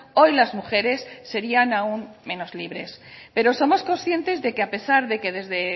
hoy las mujeres serian aún menos libres pero somos conscientes de que a pesar de que desde